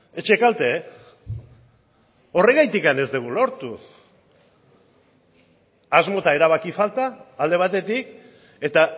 etxekalte horregatik ez dugu lortu asmo eta erabaki falta alde batetik eta